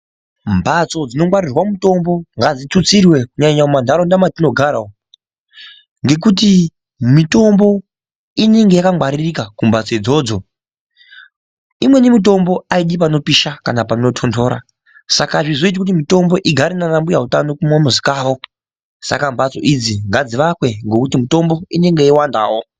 Mbatso dzinogwaririrwa mutombo ngadzitutsirwe kunyanya mumantaraunda matinogara umu. Ngekuti mitombo inenge yakangwaririka kumhatso idzodzo imweni mitombo haidi panopisha kana panotonhora. Saka hazvizoiti kuti mitombo igare panambuya utano kumamizi kwavo saka mbatso idzi ngadzivakwe ngekuti mitombo inenge yeiwandavo.